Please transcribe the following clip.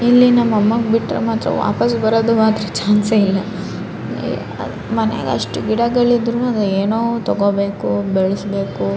ಇಲ್ಲಿ ನಮ್ಮಗ್ ಬಿಟ್ರೆ ಮಾತ್ರ ವಾಪಾಸ್ ಬರೋದು ಮಾತ್ರ ಚಾನ್ಸೇ ಇಲ್ಲ ಮನೆಗ್ ಅಷ್ಟು ಗಿಡಗಳು ಇದ್ರೂ ಏನೋ ತಗೋಬೇಕು ಬೆಲ್ಸ್ಬೇಕು.